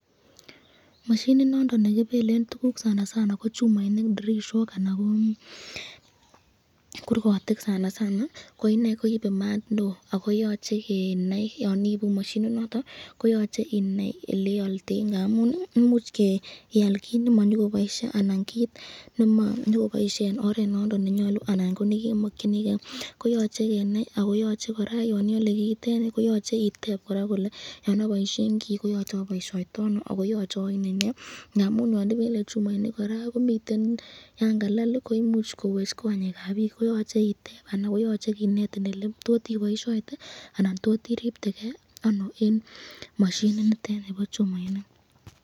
Masyinit nondon nekibeken tukul , sanasana ko chumainik ,dirishok anan kokurkotik koinei koibe maat neo ako tache kenai eleoldei